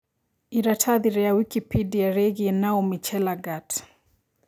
ĩratathi ria Wikipedia rĩigie Naomi Chelagat